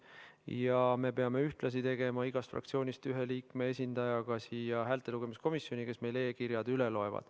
Ja me peame ühtlasi tegema igast fraktsioonist ühe liikme esindajaga ka häältelugemiskomisjoni, kes meil e-kirjad üle loevad.